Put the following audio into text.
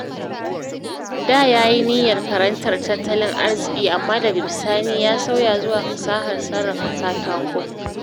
Da ya yi niyyar karantar tattalin arziki, amma daga bisani ya sauya zuwa fasahar sarrafa katako